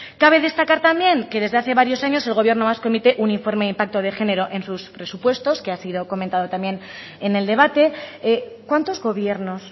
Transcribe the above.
cabe destacar también que desde hace varios años el gobierno vasco emite un informe de impacto de género en sus presupuestos que ha sido comentado también en el debate cuántos gobiernos